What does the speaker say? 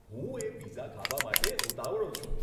હું એ પિઝા ખાવા માટે ઉતાવળો છું.